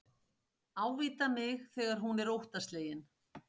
Ávítar mig þegar hún er óttaslegin.